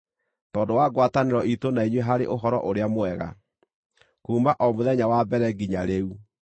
Tondũ wa ngwatanĩro iitũ na inyuĩ harĩ Ũhoro-ũrĩa-Mwega, kuuma o mũthenya wa mbere nginya rĩu.